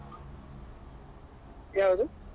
ಯಾವ್ದು?